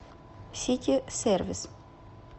сити сервис